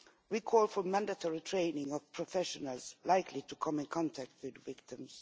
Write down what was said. We call for mandatory training of professionals likely to come in contact with victims